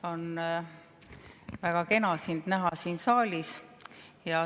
On väga kena sind näha siin saalis.